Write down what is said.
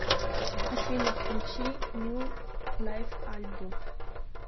афина включи ню лайв альбум